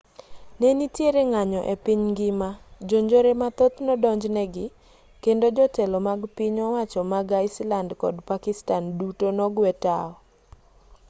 ne nitiere ng'anyo e piny ngima jonjore mathoth nodonj negi kendo jotelo mag piny owacho mag iceland kod pakistan duto nogwe tao